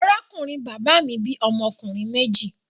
Arákùnrin bàbá mi bí ọmọ ọkùnrin méjì.